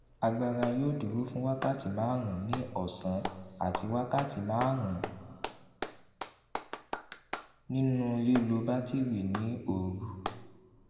agbára yóò dúró fún wákàtí márùnún ní òsán àti wákàtí márùnún nínú lílo batiri ní òru